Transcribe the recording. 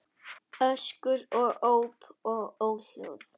Öskur og óp og óhljóð.